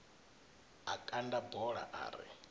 a kanda bola a ri